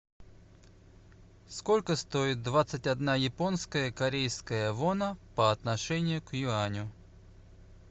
сколько стоит двадцать одна японская корейская вона по отношению к юаню